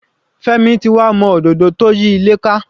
Femi ti wà mọ́ òdodo tó yí ilé ká.